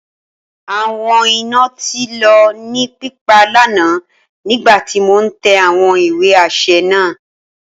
Awọn ina ti lọ ni pipa lana nigbati mo n tẹ awọn iwe aṣẹ naa.